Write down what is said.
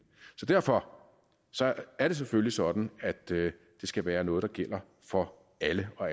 så derfor er det selvfølgelig sådan at det skal være noget der gælder for alle og